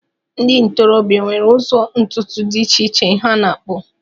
Ndị ntorobịa nwere ụzọ ntutu dị iche iche ha na-akpụ